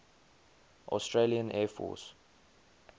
australian air force